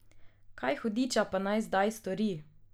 Kaj, hudiča, pa naj zdaj stori?